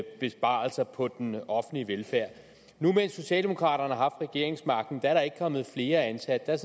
besparelser på den offentlige velfærd nu mens socialdemokraterne har haft regeringsmagten er der ikke kommet flere ansatte der er